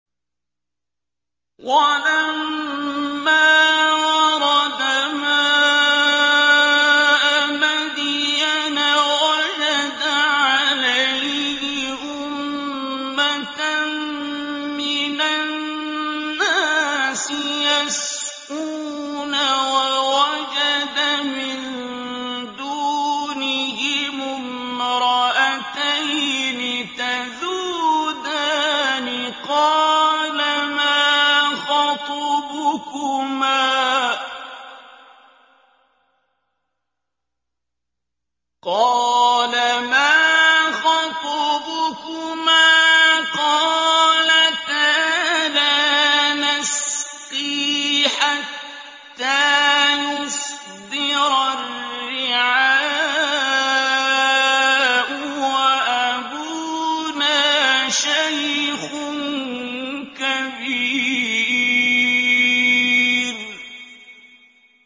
وَلَمَّا وَرَدَ مَاءَ مَدْيَنَ وَجَدَ عَلَيْهِ أُمَّةً مِّنَ النَّاسِ يَسْقُونَ وَوَجَدَ مِن دُونِهِمُ امْرَأَتَيْنِ تَذُودَانِ ۖ قَالَ مَا خَطْبُكُمَا ۖ قَالَتَا لَا نَسْقِي حَتَّىٰ يُصْدِرَ الرِّعَاءُ ۖ وَأَبُونَا شَيْخٌ كَبِيرٌ